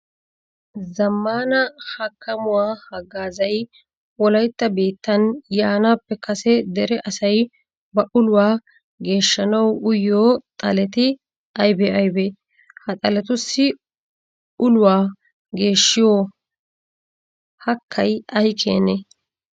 Zammaana hakkamuwa haggaazay wolaytta biittan yaanaappe kase dere asay ba uluwa geeshshanawu uyiyo xaleti aybee aybee? Ha xaletussi uluwa geeshshiyo hakkay ay keenee?